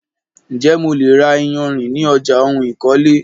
Ǹjè mo lè ra iyarìn ní ọjà ohun ìkọ́lé?